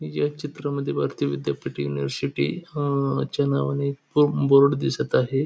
या चित्रामध्ये भारती विद्यापीठ युनिव्हर्सिटी हां च्या नावाने एक बो बोर्ड दिसत आहे.